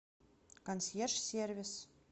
консьерж сервис